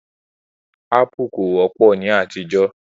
Ápù kò wọ́pọ̀ ní àtijọ́